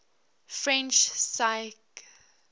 french physicists